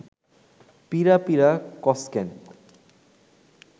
পিঁড়া পিঁড়া কস ক্যান